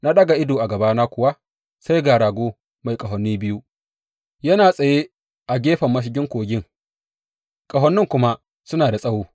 Na ɗaga ido, a gabana kuwa sai ga rago mai ƙahoni biyu, yana tsaye a gefen mashigin kogin, ƙahonin kuma suna da tsawo.